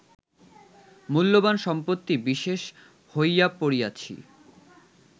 মূল্যবান সম্পত্তি বিশেষ হইয়া পড়িয়াছি